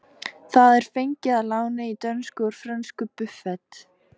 Það er fengið að láni í dönsku úr frönsku buffet.